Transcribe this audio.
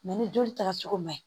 ni joli taga cogo man ɲi